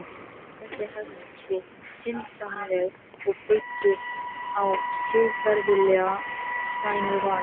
Þessi hegðun sé syndsamleg og byggi á siðferðilega slæmu vali.